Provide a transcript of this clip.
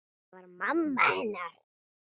Það var mamma hennar.